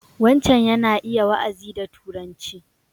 Wancan yana iya wa'azi da Turanci.